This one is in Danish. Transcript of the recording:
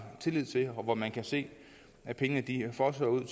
tillid til og hvor man kan se pengene fosse ud